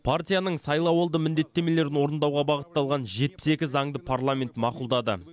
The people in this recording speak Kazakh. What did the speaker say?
партияның сайлауалды міндеттемелерін орындауға бағытталған жетпіс екі заңды парламент мақұлдады